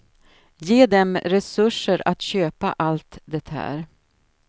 Ge dem resurser att köpa allt det här.